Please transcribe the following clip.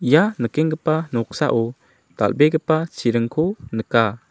ia nikenggipa noksao dal·begipa chiringko nika.